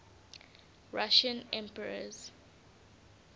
russian emperors